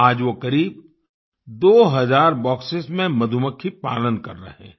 आज वो करीब दो हज़ार बॉक्सेस में मधुमक्खी पालन कर रहे हैं